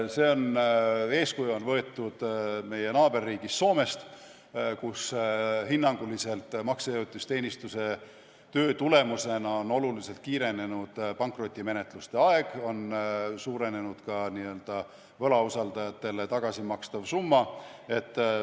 Eeskuju on võetud meie naaberriigist Soomest, kus hinnanguliselt maksejõuetuse teenistuse töö tulemusena on oluliselt kiirenenud pankrotimenetluste aeg ja suurenenud ka n-ö võlausaldajatele tagasimakstav summa.